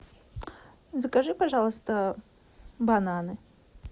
закажи пожалуйста бананы